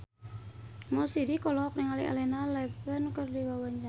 Mo Sidik olohok ningali Elena Levon keur diwawancara